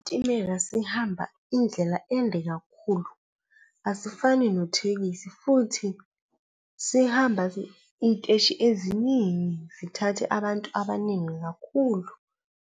Isitimela sihamba indlela ende kakhulu, asifani nothekisi futhi sihamba iy'teshi eziningi zithathe abantu abaningi kakhulu.